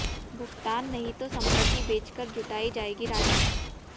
भुगतान नहीं तो संपत्ति बेच कर जुटाई जाएगी राशि